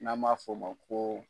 N'a maa fɔ ma ko.